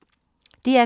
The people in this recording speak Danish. DR K